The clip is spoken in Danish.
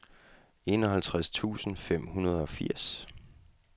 enoghalvtreds tusind fem hundrede og firs